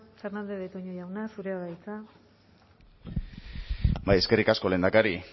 fernandez de betoño jauna zurea da hitza eskerrik asko lehendakari